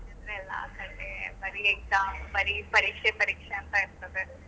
ಆ ಕಡೆ ಬರೀ exam ಬರೀ ಪರೀಕ್ಷೆ ಪರೀಕ್ಷೆ ಅಂತ ಇರ್ತದೆ.